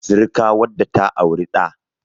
sirika wadda ta auri da